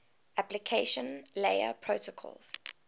application layer protocols